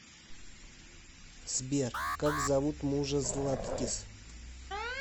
сбер как зовут мужа златкис